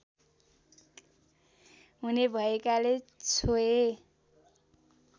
हुने भएकाले छोए